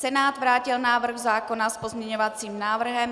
Senát vrátil návrh zákona s pozměňovacím návrhem.